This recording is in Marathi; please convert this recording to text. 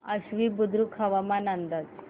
आश्वी बुद्रुक हवामान अंदाज